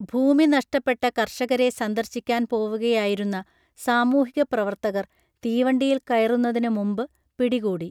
ഭൂമി നഷ്ടപ്പെട്ട കർഷകരെ സന്ദർശിക്കാൻ പോവുകയായിരുന്ന സാമൂഹികപ്രവർത്തകർ തീവണ്ടിയിൽ കയറുന്നതിനു മുമ്പ് പിടികൂടി